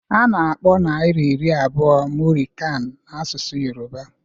A na-akpọ naira iri abụọ muri kan n'asụsụ Yoruba